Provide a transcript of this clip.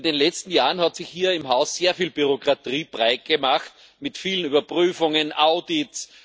In den letzten Jahren hat sich hier im Haus sehr viel Bürokratie breitgemacht, mit vielen Überprüfungen und Audits.